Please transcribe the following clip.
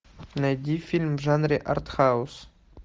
найди фильм в жанре артхаус